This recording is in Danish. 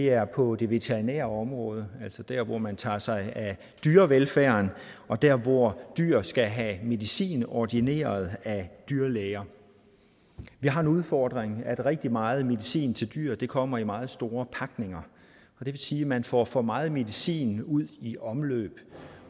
er på det veterinære område altså der hvor man tager sig af dyrevelfærd og der hvor dyr skal have medicin ordineret af dyrlæger vi har en udfordring at rigtig meget medicin til dyr kommer i meget store pakninger det vil sige at man får for meget medicin ud i omløb